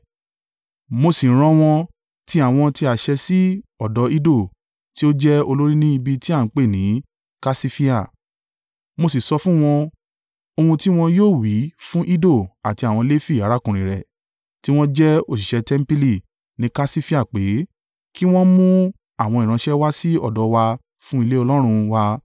mo sì rán wọn tí àwọn ti àṣẹ sí ọ̀dọ̀ Iddo, tí ó jẹ́ olórí ní ibi ti a ń pè ni Kasifia, mo sì sọ fún wọn ohun tí wọn yóò wí fun Iddo àti àwọn Lefi arákùnrin rẹ̀, tí wọ́n jẹ́ òṣìṣẹ́ tẹmpili ní Kasifia pé, kí wọn mú àwọn ìránṣẹ́ wá sí ọ̀dọ̀ wa fún ilé Ọlọ́run wa.